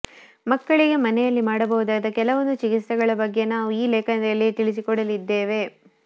ಮಕ್ಕಳಿಗೆ ಮನೆಯಲ್ಲಿ ಮಾಡಬಹುದಾದ ಕೆಲವೊಂದು ಚಿಕಿತ್ಸೆಗಳ ಬಗ್ಗೆ ನಾವು ಈ ಲೇಖನದಲ್ಲಿ ತಿಳಿಸಿಕೊಡಲಿದ್ದೇವೆ